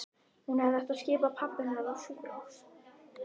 Hún hefði átt að skipa pabba hennar á sjúkrahús.